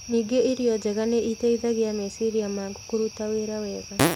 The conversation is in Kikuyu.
Ningĩ irio njega nĩ iteithagia meciria maku kũruta wĩra wega.